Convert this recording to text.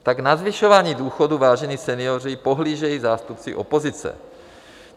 Tak na zvyšování důchodů, vážení senioři, pohlížejí zástupci opozice.